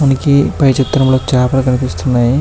మనకి పై చిత్రంలోని చేపలు కనిపిస్తూ ఉన్నాను.